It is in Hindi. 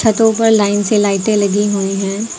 छतो पर लाइन से लाइटे लगी हुई है।